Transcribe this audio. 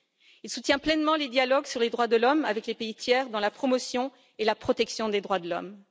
Il soutient pleinement les dialogues sur les droits de l'homme avec les pays tiers dans la promotion et la protection des droits de l'homme.